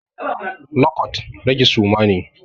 Lo kwat, rage suma ne.